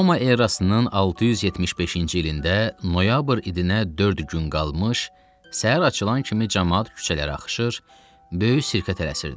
Roma erasının 675-ci ilində noyabr ayına dörd gün qalmış səhər açılan kimi camaat küçələrə axışır, böyük sirkə tələsirdi.